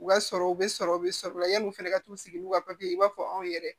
U ka sɔrɔ u be sɔrɔ u be sɔrɔ yanni u fɛnɛ ka t'u sigi n'u ka ye i b'a fɔ anw yɛrɛ